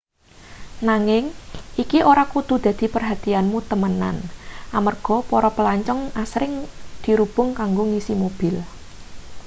nanging iki ora kudu dadi perhatianmu temenan amarga para plancong asring dirubung kanggo ngisi mobil